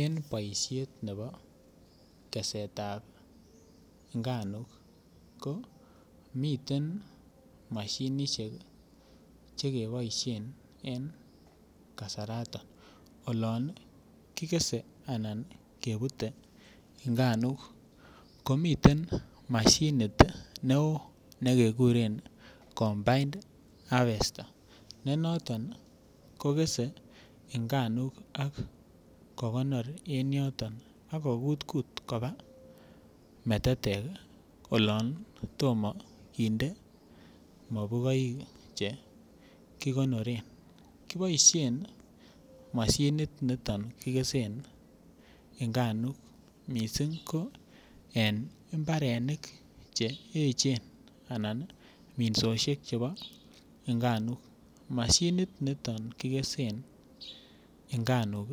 En boishet nebo tesetab nganuk ko miten moshinishek che keboishen en kasaraton olon kigese anan kebute nganuk ko miten moshinit ne oo ne keguren combined harvester ne noton kogese nganuk ak kogonor en yoton ak ko kutkut kobaa metetek olon tom kinde mokuboik che kigonoren kiboishen moshinit niton ii kigesen nganuk missing ko en mbaronok che echen anan ii minsoshek chebo nganuk mashinik niton kigesen nganuk